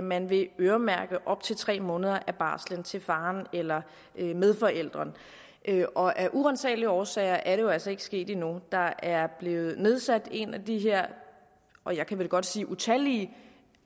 man vil øremærke op til tre måneder af barslen til faren eller medforælderen og af uransagelige årsager er det jo altså ikke sket endnu der er blevet nedsat en af de her og jeg kan vel godt sige utallige